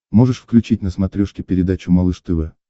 можешь включить на смотрешке передачу малыш тв